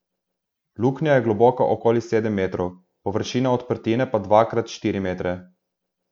Luknja je globoka okoli sedem metrov, površina odprtine pa dva krat štiri metre.